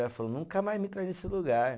Ela falou, nunca mais me traz nesse lugar.